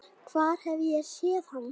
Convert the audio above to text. Hvar hef ég séð hann?